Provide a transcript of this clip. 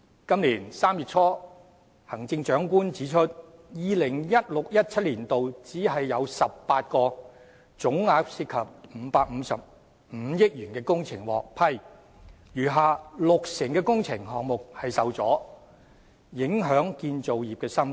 今年3月初，行政長官指出，在 2016-2017 年度，只有18項總額涉及555億元的工程獲批，餘下六成的工程項目受阻，影響建造業生態。